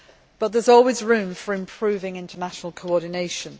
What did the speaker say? But there is always room for improving international coordination.